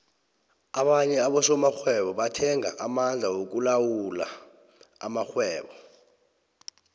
abanye abosokghwebo bathenga amandla wokulawula amakhgwebo